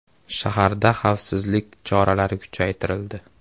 Shaharda xavfsizlik choralari kuchaytirildi.